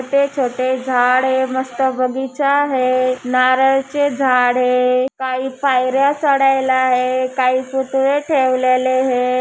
छोटे छोटे झाड आहे मस्त बगीचा आहे नारळीचे झाड हे काही पायर्‍या चढायला आहे काही पुतळे ठेवलेले हे.